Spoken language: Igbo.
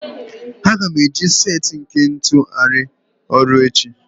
Aga m eji set nke ntu arụ ọrụ echi